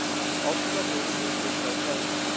Ofsaveður hefur geisað á svæðinu